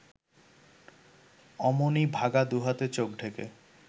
অমনি বাঘা দুহাতে চোখ ঢেকে